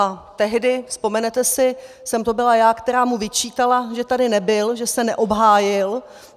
A tehdy, vzpomenete si, jsem to byla já, která mu vyčítala, že tady nebyl, že se neobhájil.